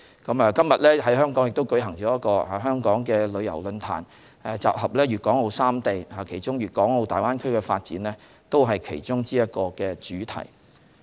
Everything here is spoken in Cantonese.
今天在香港也舉行了旅遊論壇，討論粵港澳三地旅遊發展，而粵港澳大灣區的發展便是其中一個主題。